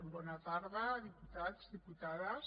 bona tarda diputats diputades